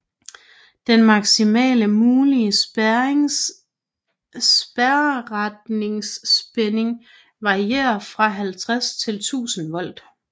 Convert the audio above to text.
Den maksimale mulige spærreretningsspænding varierer fra 50 til 1000 volt